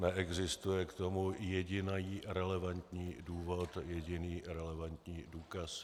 Neexistuje k tomu jediný relevantní důvod, jediný relevantní důkaz.